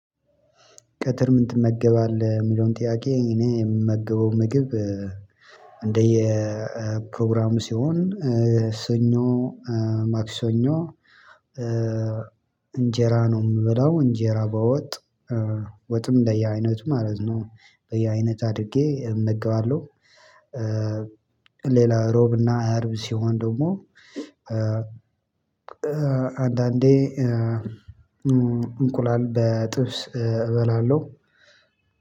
ቀትር ምን ትመገባለህ የሚለውን ጥያቄ እኔ የምመገበው ምግብ እንደየ ፕሮግራሙ ሲሆን ሰኞ ማክሰኞ እንጀራ ነው የምበላው እንጀራ በወጥ ወጥም በየአይነቱ ማለት ነው በየአይነት አድርጌ እመገባለሁ። ሌላ ሮብና አርብ ሲሆን ደግሞ አንዳንዴ እንቁላል በጥብስ እበላለሁ።